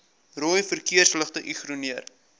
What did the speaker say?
rooi verkeersligte ignoreer